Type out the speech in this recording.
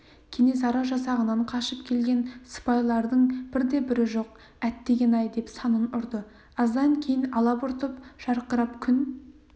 кенесары жасағынан қашып келген сыпайлардың бірде-бірі жоқ әттеген-ай деп санын ұрды аздан кейін алабұртып жарқырап күн